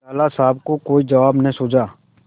लाला साहब को कोई जवाब न सूझा